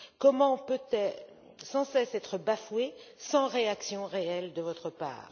Comment peut elle sans cesse être bafouée sans réaction réelle de votre part?